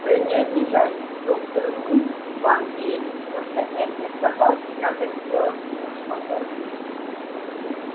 вы не обижайтесь доктор мы вам верим но для этой собаки надо сделать все что можно